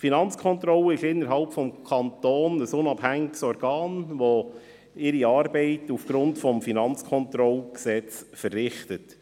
Die Finanzkontrolle ist innerhalb des Kantons ein unabhängiges Organ, das seine Arbeit aufgrund des Gesetzes über die Finanzkontrolle (Kantonales Finanzkontrollgesetz, KFKG) verrichtet.